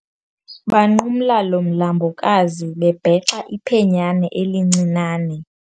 Banqumla lo mlambokazi bebhexa iphenyane elincinane.